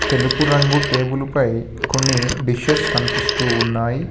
తెలుపు రంగు టేబుల్ పై కొన్ని డిషెస్ కనిపిస్తూ ఉన్నాయి.